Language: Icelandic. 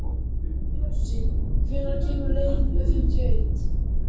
Bjössi, hvenær kemur leið númer fimmtíu og eitt?